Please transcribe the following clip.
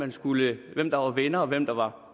der var venner og hvem der var